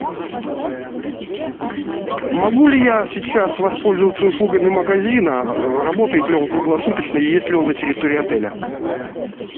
могу ли я сейчас воспользоваться услугами магазина работает ли он круглосуточно и есть ли он на территории отеля